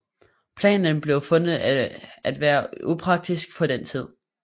Planen blev fundet at være upraktisk på den tid